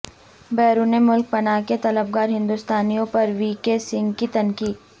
بیرون ملک پناہ کے طلبگار ہندوستانیوں پر وی کے سنگھ کی تنقید